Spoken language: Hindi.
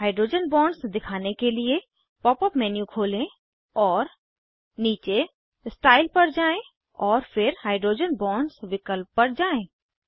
हाइड्रोजन बॉन्ड्स दिखाने के लिए पॉप अप मेन्यू खोलें और नीचे स्टाइल पर जाएँ और फिर हाइड्रोजन बॉन्ड्स विकल्प पर जाएँ